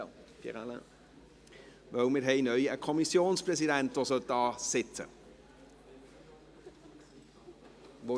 Wir haben einen Kommissionspräsidenten, der hier vorne sitzen sollte.